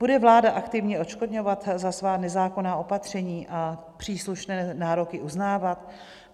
Bude vláda aktivně odškodňovat za svá nezákonná opatření a příslušné nároky uznávat?